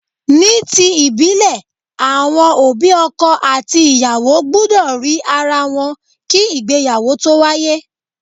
Ní ti ìbílè, àwọn òbí ọkọ àti ìyàwó gbúdọ̀ rí ara wọn kí ìgbéyàwó tó wáyé.